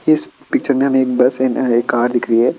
इस पिक्चर में हमें एक बस अँड एक कार दिख रही है।